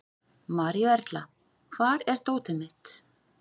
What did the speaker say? Maríuerla, hvar er dótið mitt?